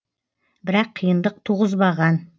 бірақ қиындық туғызбаған